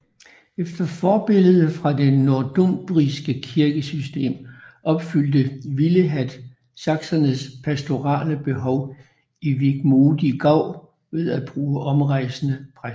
Efter forbillede fra det nordumbriske kirkesystem opfyldte Willehad saksernes pastorale behov i Wigmodi Gau ved at bruge omrejsende præster